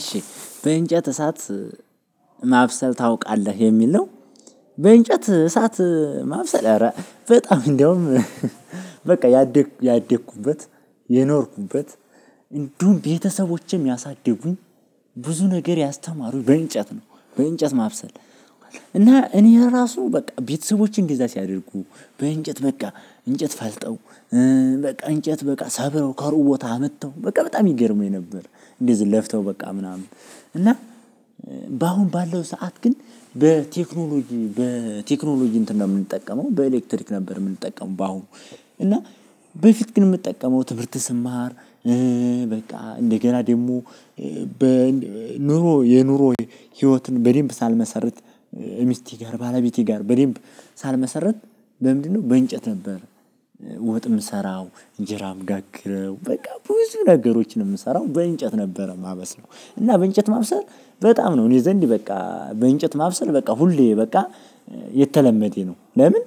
"እሺ በእንጨት እሳት ማብሰል ታውቃለህ?" የሚል ነው። በእንጨት እሳት ማብሰላል በጣም እንደውም በቃ ያደ ያደኩበት የኖርኩበት እንዲሁም ቤተሰቦቼም ያሳድጉኝ ብዙ ነገር ያስተማሩኝ በእንጨት ነው። በእንጨት ማብሰል እና እኔ ለራሱ በቃ ቤተሰቦቼ እንደዛ ሲያደርጉ በእንጨት በቃ እንጨት ፈልጠው በቃ እንጨት በቃ ሰብረው ከሩቅ ቦታ አምጥተው በቃ በጣም ይገርመኝ ነበር። እንደዚህ ለፍተው በቃ ምናምን እና በአሁን ባለው ሰዓት ግን በቴክኖሎጂ በቴክኖሎጂ እንትን ነው የምንጠቀመው በኤሌክትሪክ ነበር የምንጠቀመው በአሁኑ እና በፊት ግን የምጠቀመው ትምህርት ስማር በቃ እንደገና ደግሞ በ ኑሮ የኑሮ ህይወትን በደንብ ሳልመሰርት ሚስቴ ጋር ባለቤቴ ጋር በደንብ ሳልመሰርት በምንድነው በእንጨት ነበር ወጥ የምሰራው፣ እንጀራ አምጋግረው በቃ ብዙ ነገሮችን የምሰራው በእንጨት ነበረ የማበስለው እና በእንጨት ማብሰል በጣም ነው እኔ ዘንድ በቃ በእንጨት ማብሰል በቃ ሁሌ በቃ የተለመደ ነው። ለምን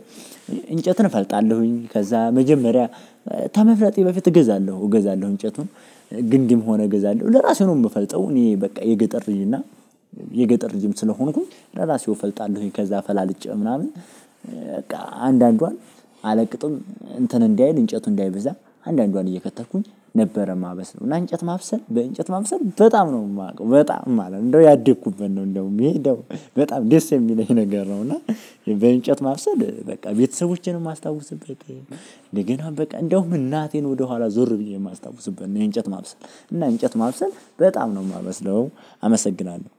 እንጨትን እፈልጣለሁኝ ከዛ መጀመሪያ ተመፍለጤ በፊት እገዛለሁ እገዛለሁ እንጨቱን ግንድም ሆነ እገዛለሁ ለራሴ ነው የምፈልጠው እኔ በቃ የገጠር ልጅ እና የገጠር ልጅም ስለሆንኩኝ ለራሴው እፈልጣለሁኝ ከዛ ፈላልጬ ምናምን በቃ አንዳንዷን አለቅጥም እንትን እንዳይል እንጨቱ እንዳይበዛ አንዳንዷን እየከተልኩኝ ነበረ ማበስ ነው እና እንጨት ማብሰል በእንጨት ማብሰል በጣም ነው የማውቀው በጣም ማለት ነው እንደው ያደኩበት ነው እንደውም ይሄ እንደው በጣም ደስ የሚለኝ ነገር ነው፤ እና በእንጨት ማብሰል በቃ ቤተሰቦቼን የማስታውስበትም እንደገና በቃ እንደውም እናቴን ወደኋላ ዞር ብዬ የማስታውስበት ነው የእንጨት ማብሰል እና እንጨት ማብሰል በጣም ነው የማበስለው አመሰግናለሁ።